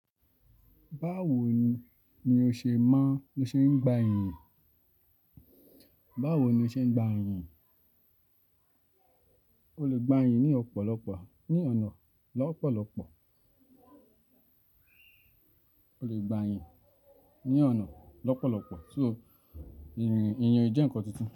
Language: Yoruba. Báwo ni o ṣe maa n ló ṣe ń gba ẹ̀yìn? Báwo ni o ṣe ń gba ẹ̀yìn? O le gba ẹ̀yìn ní ọ̀pọ̀lọpọ̀ ní ọ̀nà lọ́pọ̀lọpọ̀. O le gba ẹ̀yìn ní ọ̀nà lọ́pọ̀lọpọ̀. So ìyẹn jẹ́ ǹkan tuntun.